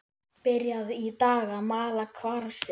Byrjað í dag að mala kvarsið.